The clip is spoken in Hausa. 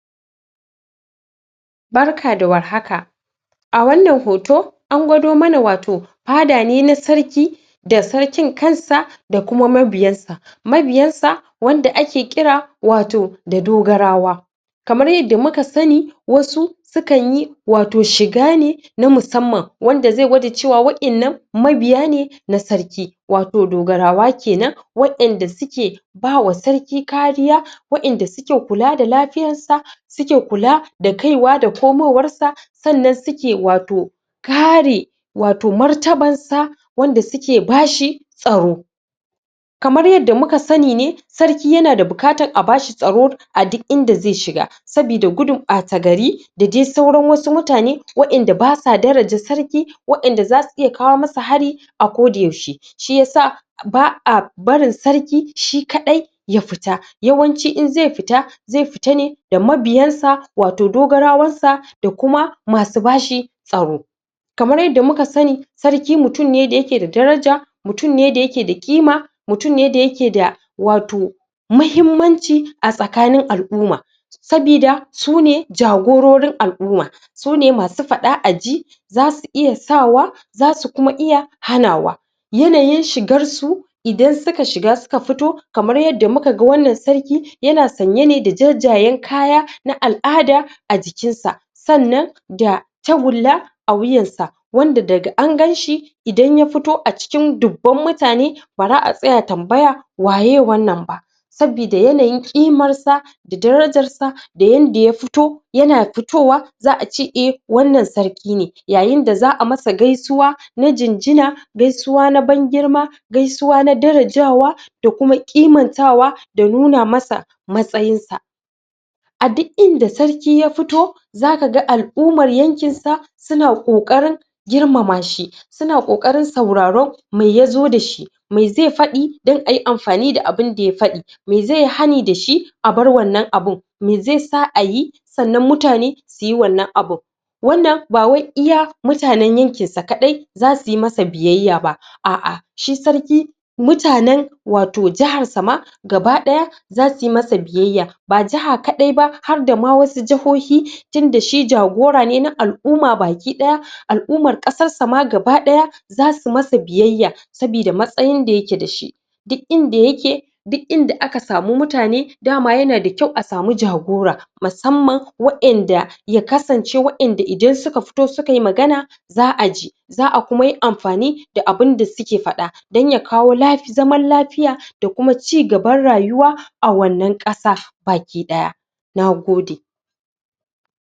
Barka da war haka! A wannan hoto, an gwado mana wato fada ne na sarki da sarkin kansa da kuma mabiyansa. Mabiyansa wanda ake kira wato da dogarawa Kamar yadda muka sani wasu sukan yi wato shiga ne na musamman wanda zai gwada cewa wa'innan mabiya ne na sarki, wato dogarawa ke nan wa'inda suke suke ba wa sarki kariya, wa'inda suke kula da lafiyarsa, suke kula da kaiwa da komowarsa. Sannan suke wato kare wato martabarsa, wanda suke ba shi tsaro Kamar yadda muka sani ne, sarki yana da bukatar a ba shi tsaro a duk inda zai shiga sabida gudun ɓata-gari da dai sauran wasu mutane wa'inda ba sa daraja sarki, wa'inda za su iya kawo masa hari a kodayaushe, shi ya sa ba a barin sarki shi kaɗai ya fita. Yawanci in zai fita, zai fita ne da mabiyansa wato dogarawansa da kuma masu ba shi tsaro. Kamar yadda muka sani, sarki mutum ne da yake da daraja, mutum ne da yake da ƙima, mutum ne da yake da wato muhimmanci a tsakanin al'uma. saboda su ne jagororin al'uma; su ne masu faɗa-a-ji za su iya sawa, za su kuma iya hanawa. yanayin shigarsu, idan suka shiga suka fito, kamar yadda muka ga wannan sarki yana sanye ne da jajayen kaya na al'ada a jikinsa. Sannan da tagulla a wuyansa, wanda daga an gan shi idan ya fito a cikin dubban mutane ba ra a tsaya tambaya waye wannan ba Sabida yanayin ƙimarsa da darajarsa da yanda ya fito, yana fitowa za a ce, e, wannan sarki ne. Yayin da za a masa gaisuwa na jinjin, gaisuwa na ban-girma, gaisuwa na darajawada kuma ƙimantawa da nuna masa matsayinsa. A duk inda sarki ya fito za ka ga al'umar yankinsa suna ƙoƙarin girmama shi suna ƙoƙarin sauraron me ya zo da shi, me zai faɗi don a yi amfani da abin da ya faɗi me zai yi hani da shi, a bar wannan abin, me zai sa a yi sannan mutane su yi wannan abin Wannan ba wai iya mutanen yankinsa kaɗai za su yi masa biyayya ba, a'a, shi sarki mutanen wato jiharsa ma gaba ɗaya za su yi masa biyayya, ba jiha kaɗai ba, har da ma wasu jihohi tunda shi jagora ne na al'uma baki ɗaya, al'umar ƙasarsa ma gaba ɗaya za su masa biyayya sabida matsayin da yake da shi. duk inda yake, duk inda aka samu mutane da ma yana da kyau a samu jagora. musamman wayanda, ya kasance waƴanda idan suka fito sukai magana za a ji, za a kuma yi amfani da abin da suke faɗa, don ya kawo lafi...zaman lafiya da kuma cigaban rayuwa a wannan ƙasa baki ɗaya. Na gode.